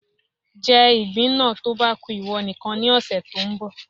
Jẹ ìgbín náà tó bá ku ìwọ nìkan ní ọ̀sẹ̀ tó ń bọ̀